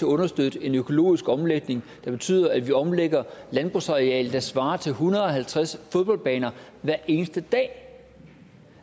understøtte en økologisk omlægning der betyder at vi omlægger et landbrugsareal der svarer til en hundrede og halvtreds fodboldbaner hver eneste dag